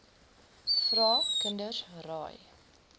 vra kinders raai